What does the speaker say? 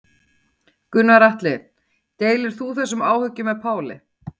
Gunnar Atli: Deilir þú þessum áhyggjum með Páli?